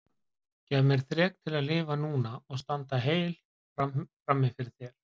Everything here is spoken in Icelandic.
Gef mér þrek til að lifa núna og standa heill frammi fyrir þér.